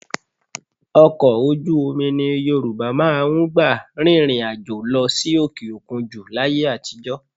Ọkọ̀ ojú omi ni Yorùbá máa ń gbà rìnrìn àjò lọ sí òkè òkun jù láyé àtijọ́